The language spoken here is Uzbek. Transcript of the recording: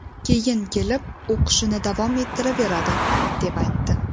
Keyin kelib, o‘qishini davom ettiraveradi, deb aytdi.